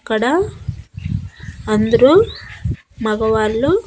ఇక్కడ అందరూ మగవాళ్ళు.